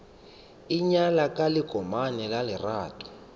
ingwaya ka lekomane la lerato